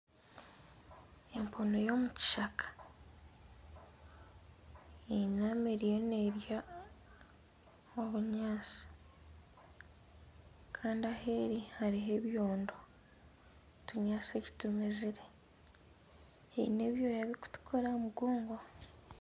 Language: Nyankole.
Empunu y'omu kishaka eyinami eriyo nerya obunyaatsi kandi aheeri hariho ebyondo otunyaatsi titumezire eine ebyoya bikutuukura aha mugongo.